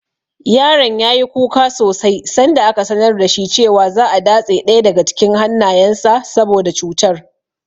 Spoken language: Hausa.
Yaron ya yi kuka sosai sanda aka sanar da shi cewa za'a datse ɗaya daga cikin hannayensa saboda cutar.